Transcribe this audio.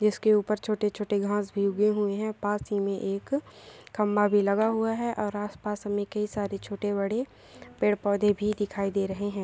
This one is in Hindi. इसके ऊपर छोटे-छोटे घास भी हुए हैं पास ही में एक खंभा भी लगा हुआ है और आसपास में कई सारे छोटे बड़े पेड़ पौधे भी दिखाई दे रहे हैं।